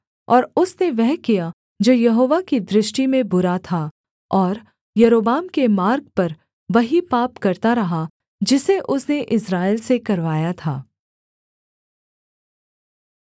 और उसने वह किया जो यहोवा की दृष्टि में बुरा था और यारोबाम के मार्ग पर वही पाप करता रहा जिसे उसने इस्राएल से करवाया था